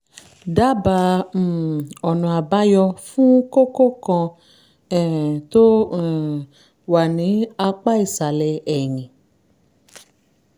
dábàá um ọ̀nà-àbáyọ fún kókó kan um tó um wà ní apá ìsàlẹ̀ ẹ̀yìn